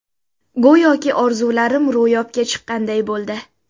Go‘yoki orzularim ro‘yobga chiqqanday bo‘ldi.